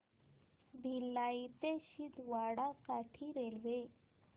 भिलाई ते छिंदवाडा साठी रेल्वे